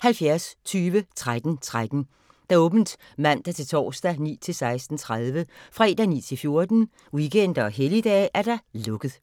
70 20 13 13, åbent mandag-torsdag 9.00-16.30, fredag 9.00-14.00, weekender og helligdage: lukket.